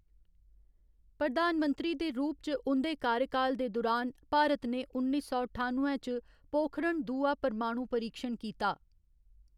प्रधानमंत्री दे रूप च उं'दे कार्यकाल दे दुरान, भारत ने उन्नी सौ ठानुए च पोखरण दूआ परमाणु परीक्षण कीता।